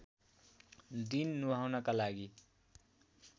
दिन नुहाउनका लागि